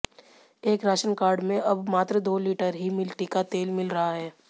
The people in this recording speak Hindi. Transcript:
एक राशन कार्ड में अब मात्र दो लीटर ही मिट्टी का तेल मिल रहा है